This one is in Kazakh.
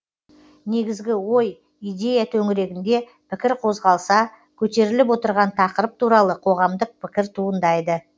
негізгі ой идея төңірегінде пікір қозғалса көтеріліп отырған тақырып туралы қоғамдық пікір туындайды